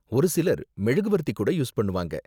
ஒரு சிலர் மெழுகுவர்த்தி கூட யூஸ் பண்ணுவாங்க.